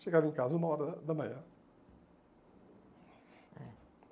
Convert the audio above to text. Chegava em casa uma hora da manhã. É